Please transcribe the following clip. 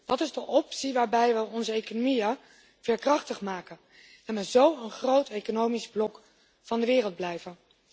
Dat is de optie waarbij we onze economieën veerkrachtig maken, en we zo een groot economisch blok van de wereld blijven.